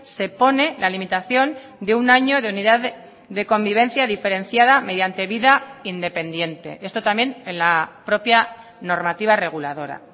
se pone la limitación de un año de unidad de convivencia diferenciada mediante vida independiente esto también en la propia normativa reguladora